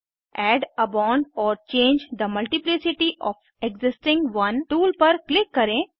add a bond or change the multiplicity of existing one tool पर click करें